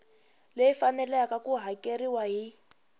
leyi faneleke ku hakeriwa hi